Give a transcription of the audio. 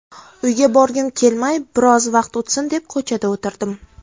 Uyga borgim kelmay, biroz vaqt o‘tsin deb ko‘chada o‘tirdim.